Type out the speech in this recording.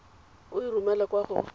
o e romele kwa go